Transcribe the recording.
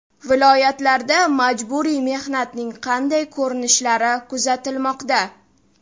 Viloyatlarda majburiy mehnatning qanday ko‘rinishlari kuzatilmoqda?.